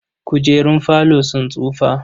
Kujerun falo sun tsufa.